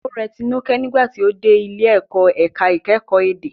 Ó rẹ Tinuke nígbà tí ó dé ilé ìkọ́ ẹ̀ka ìkẹ́kọ̀ọ́ èdè.